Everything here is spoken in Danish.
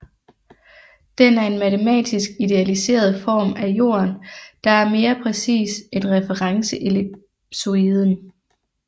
Den er en matematisk idealiseret form af Jorden der er mere præcis end referenceellipsoiden